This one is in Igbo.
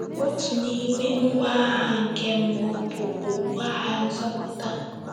Otu n’ime ngwa agha nke mmụọ bụ “ okpu agha nzọpụta. ”